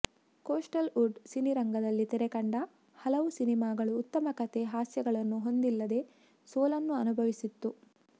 coastal Wood ಸಿನಿರಂಗದಲ್ಲಿ ತೆರೆಕಂಡ ಹಲವು ಸಿನಿಮಾಗಳು ಉತ್ತಮ ಕಥೆ ಹಾಸ್ಯಗಳನ್ನು ಹೊಂದಿಲ್ಲದೆ ಸೋಲನ್ನು ಅನುಭವಿಸಿತ್ತು